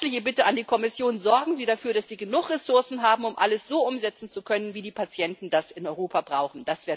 Herzliche Bitte an die Kommission Sorgen Sie dafür, dass Sie genug Ressourcen haben, um alles so umsetzen zu können, wie die Patienten das in Europa brauchen.